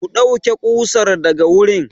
Ku ɗauke ƙusar daga wurin!